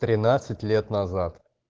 тринадцать лет назад